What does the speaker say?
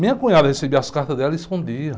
Minha cunhada recebia as cartas dela e escondia.